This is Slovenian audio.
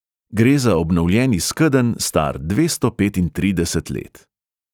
Gre za obnovljeni skedenj, star dvesto petintrideset let.